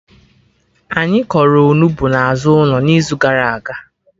Anyị kọrọ Onugbu na azụ ụlọ n'izu gara aga